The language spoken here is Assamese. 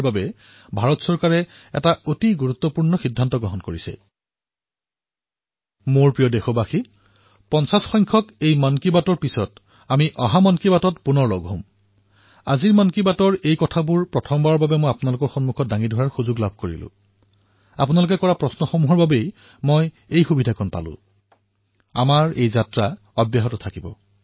মোৰ মৰমৰ দেশবাসীসকল ৫০তম খণ্ডৰ পিছত আমি পুনৰ বাৰ অহা মন কী বাতত লগ পাম আৰু মোৰ বিশ্বাস যে আজি মন কী বাতৰ এই কাৰ্যসূচীৰ অন্তৰালৰ উদ্দেশ্য প্ৰথমবাৰলৈ মই আপোনালোকৰ সন্মুখত দাঙি ধৰিবলৈ সুযোগ পালো কিয়নো আপোনালোকে এনেকুৱা ধৰণৰেই প্ৰশ্ন উত্থাপন কৰিলে আৰু আমাৰ এই যাত্ৰা অব্যাহত থাকিব